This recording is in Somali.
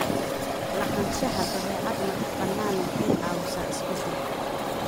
Lahaanshaha dabeecad madax-bannaan waxay caawisaa isbeddelka.